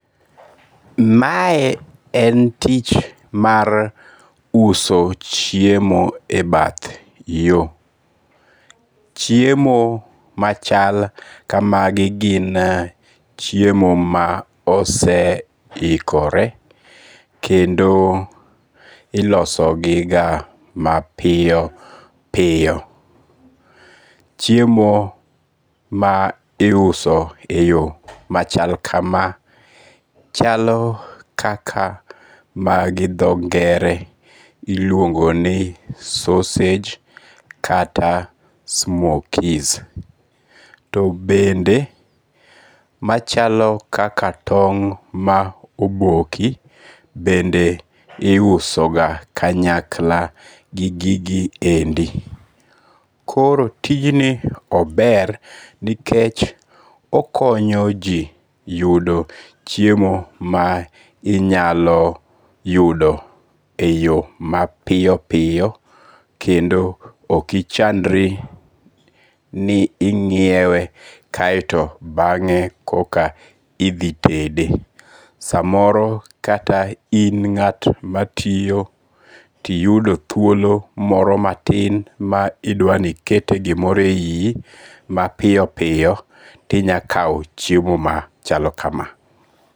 Mae en tich mar uso chiemo e bath yo. Chiemo machal kamagi gin chiemo ma ose ikore. Kendo ilosogiga mapiyo piyo. Chiemo ma iuso e yo machal kama chalo kaka ma gi dho ngere iluongo ni sausage kata smokies. To bende machalo kaka tong' ma oboki bende iuso ga kanyakla gi gigi endi. Koro tijni ober nikech okonyo ji yudo chiemo ma inyalo yudo e yo ma piyo piyo kendo okichandri ni ing'iewe kaeto bang'e koka idhi tede. Samoro kata in ng'at matiyo tiyudo thuolo moro matin ma idwani ikete gimoro e yi i mapiyo piyo tinya kaw chiemo machalo kama.